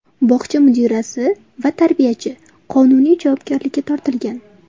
Bog‘cha mudirasi va tarbiyachi qonuniy javobgarlikka tortilgan.